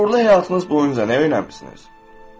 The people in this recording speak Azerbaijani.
Uğurlu həyatınız boyunca nə öyrənmisiniz?